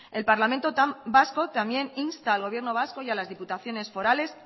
el parlamento vasco también insta el gobierno vasco y a las diputaciones forales